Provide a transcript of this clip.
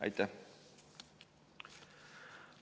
Aitäh!